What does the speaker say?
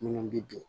Minnu bi bin